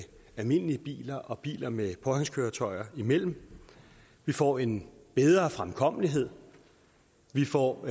almindelige biler og biler med påhængskøretøjer imellem vi får en bedre fremkommelighed vi får